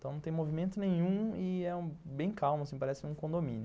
Então não tem movimento nenhum e é bem calmo, assim, parece um condomínio.